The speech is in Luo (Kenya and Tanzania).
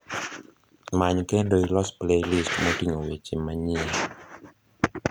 many kendo ilos playlist moting'o wende manyien